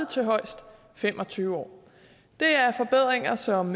til højst fem og tyve år det er forbedringer som